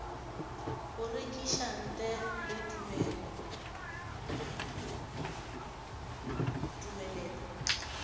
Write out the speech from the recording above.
go rekiša ntle le tumelelo